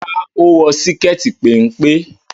Rárá, ó wọ síkẹ́ẹ̀tì péńpé.